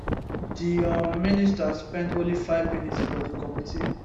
di um minister spend only five minutes for di committee